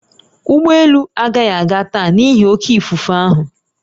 Ụgbọ elu agaghị aga taa n'ihi oké ifufe ahụ